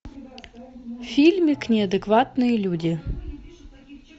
фильмик неадекватные люди